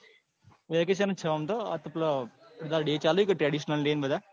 આ vacation જ છે આમ તો આતો પેલા ડે ચાલે છે ને traditional day બધા.